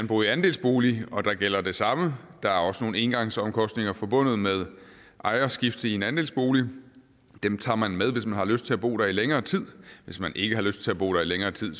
bo i andelsbolig og der gælder det samme der er også nogle engangsomkostninger forbundet med ejerskifte i en andelsbolig og dem tager man med hvis man har lyst til at bo der i længere tid hvis man ikke har lyst til at bo der i længere tid